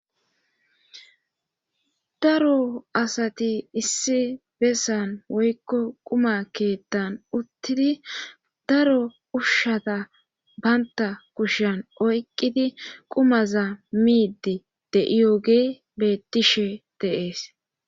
daro asati issi bessan woykko quma keethan uttidi daro ushshata bantta kushan oyqqidi qumaza miidi de7iyogeey bettishe de7ees